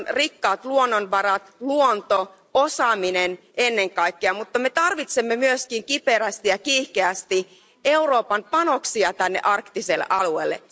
Meillä on rikkaat luonnonvarat, luonto, osaaminen ennen kaikkea, mutta me tarvitsemme myöskin kiperästi ja kiihkeästi Euroopan panoksia tänne arktiselle alueelle.